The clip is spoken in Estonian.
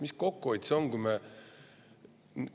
Mis kokkuhoid see on?